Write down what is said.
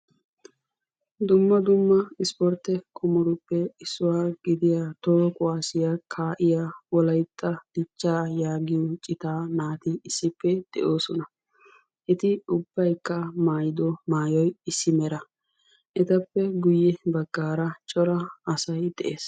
Dumma dumma ispportte qommotuppe issuwa gidiya toho kuwaasiya kaa'iya Wolaytta Dichchaa yaagiyo citaa naati issippe de'oosona. Eti ubbaykka maayido maayuwa issi mera. Etappe guyye baggaara cora asay de'ees.